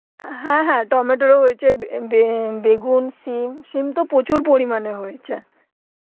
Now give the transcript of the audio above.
আহ হ্যাঁ হ্যাঁ টমেটোর ও হয়েছে বে~ বেগুন সিম, সিম তো প্রচুর পরিমানে হয়েছে